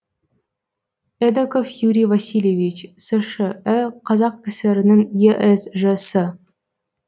эдоков юрий васильевич сш і қазкср інің есж сы